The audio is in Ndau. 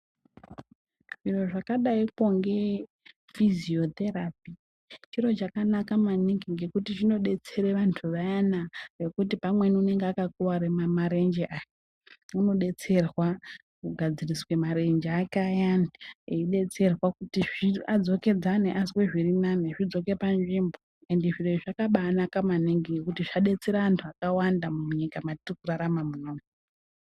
Zviro zvakadaikonge fiziyotherapy chiro chakanaka maningi ngekuti chinodetsera anhu vayana vekuti pamweni unonga akakuwara marenje aya unodetserwa kugadzirise marenje ake ayani eidetserwa kuti adzokedzane ,azwe zvirinani zvidzoke panzvimbo ende zviro izvi zvakaba anaka maningi ngekuti zvadetsera anhu akawanda maningi munyika mwatiri kurarama muno umu.